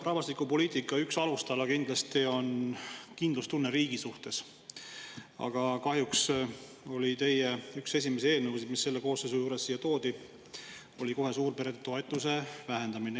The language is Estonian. Rahvastikupoliitika üks alustala on kindlasti kindlustunne riigi suhtes, aga kahjuks oli teie üks esimesi eelnõusid, mis selle koosseisu ajal siia toodi, kohe suurperede toetuste vähendamine.